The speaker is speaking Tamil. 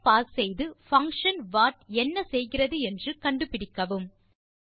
இங்கே பாஸ் செய்து பங்ஷன் வாட் என்ன செய்கிறது என்று கண்டுபிடிக்கவும்